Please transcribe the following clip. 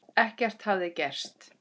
Ekkert hefði gerst.